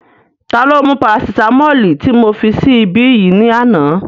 Ta ló mú parasitamọ́ọ̀lì tí mo fi sí ibí yìí ní àná?